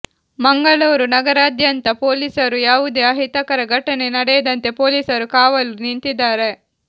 ಮಂಗಳೂರು ನಗರದಾದ್ಯಂತ ಪೊಲೀಸರು ಯಾವುದೇ ಅಹಿತಕರ ಘಟನೆ ನಡೆಯದಂತೆ ಪೊಲೀಸರು ಕಾವಲು ನಿಂತಿದ್ದಾರೆ